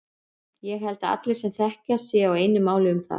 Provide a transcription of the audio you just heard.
Ég held að allir sem til þekkja séu á einu máli um það.